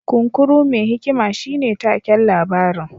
Kunkuru mai hikima shine taken labarin